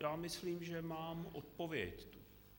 Já myslím, že mám odpověď.